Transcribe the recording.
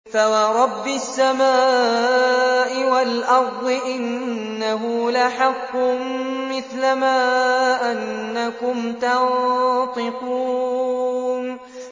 فَوَرَبِّ السَّمَاءِ وَالْأَرْضِ إِنَّهُ لَحَقٌّ مِّثْلَ مَا أَنَّكُمْ تَنطِقُونَ